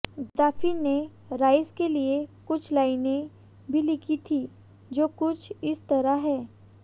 Gaddafi ने Rice के लिए कुछ लाईने भी लीखी थाी जो कुछ इस तरह है